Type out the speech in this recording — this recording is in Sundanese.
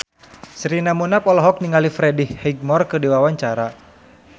Sherina Munaf olohok ningali Freddie Highmore keur diwawancara